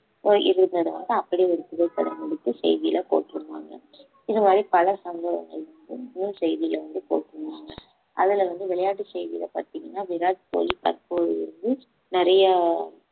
அப்படியே ஒரு புகைப்படம் எடுத்து செய்தியில போட்டுருதாங்க இது மாதிரி பல சம்பவங்கள் இன்னும் செய்தியை வந்து போட்டிருந்தாங்க அதுலேயிருந்து விளையாட்டு செய்தியில பார்த்தீங்கன்னா விராட் கோலி தற்போது வந்து நிறைய